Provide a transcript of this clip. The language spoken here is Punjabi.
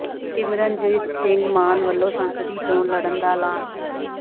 ਸਿਮਰਨਜੀਤ ਸਿੰਘ ਮਾਨ ਵੱਲੋਂ ਸੰਸਦੀ ਚੋਣ ਲੜਨ ਦਾ ਐਲਾਨ